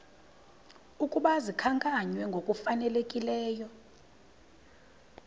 ukuba zikhankanywe ngokufanelekileyo